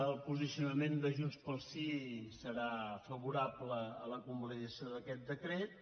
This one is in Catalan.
el posicionament de junts pel sí serà favorable a la convalidació d’aquest decret